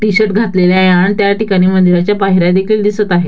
T-shirt घातलेले आहे अन त्या ठिकाणी मंदिराच्या पायऱ्या देखील दिसत आहेत.